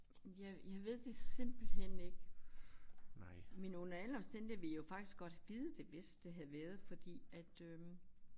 Jeg jeg ved det simpelthen ikke men under alle omstændigheder vil jeg jo faktisk godt vide det hvis det havde været fordi at øh